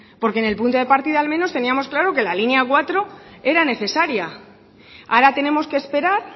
porque en el punto de partida al menos teníamos claro que la línea cuatro era necesaria ahora tenemos que esperar